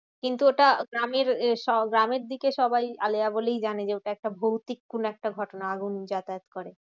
কিন্তু ওটা গ্রামের গ্রামের দিকে সবাই আলেয়া বলেই জানে। যে ওটা একটা ভৌতিক কোনো একটা ঘটনা আগুন যাতায়াত করে।